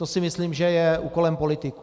To si myslím, že je úkolem politiků.